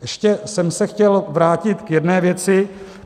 Ještě jsem se chtěl vrátit k jedné věci.